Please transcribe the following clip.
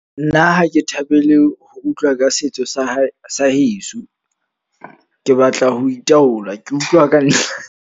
Nna ha ke thabele ho utlwa ka setso sa hae sa heso. Ke batla ho itaola, ke utlwa ka .